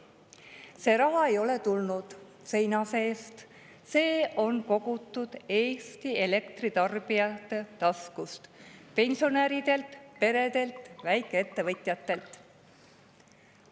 See raha ei ole tulnud seina seest, vaid see on kogutud Eesti elektritarbijate taskust: pensionäridelt, peredelt, väikeettevõtjatelt.